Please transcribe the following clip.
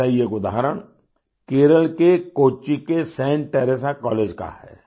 ऐसा ही एक उदाहरण केरल के कोच्चि के सेंट टेरेसा कॉलेज का है